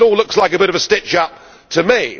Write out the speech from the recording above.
It all looks like a bit of a stitch up to me.